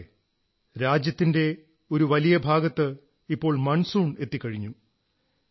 സുഹൃത്തുക്കളേ രാജ്യത്തിന്റെ ഒരു വലിയ ഭാഗത്ത് ഇപ്പോൾ മൺസൂൺ എത്തിക്കഴിഞ്ഞു